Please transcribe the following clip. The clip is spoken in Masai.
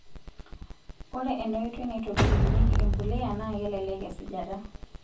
Ore enaoitoi naitobirunyieki empuliya naa kelelek esujata.